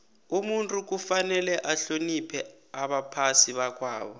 umuntu kufanele ahloniphe abaphai bakwabo